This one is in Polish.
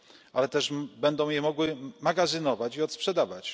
ale też będą ją mogły magazynować i odsprzedawać.